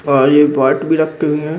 और ये पार्ट भी रखते भी हैं|